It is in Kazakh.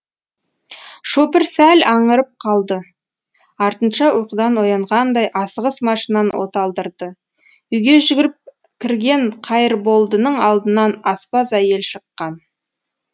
шопыр сәл аңырып қалды артынша ұйқыдан оянғандай асығыс машинаны оталдырды үйге жүгіріп кірген қайырболдының алдынан аспаз әйел шыққан